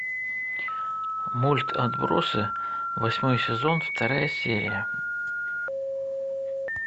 мульт отбросы восьмой сезон вторая серия